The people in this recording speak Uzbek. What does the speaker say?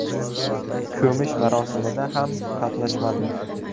Ko‘mish marosimida ham qatnashmadi.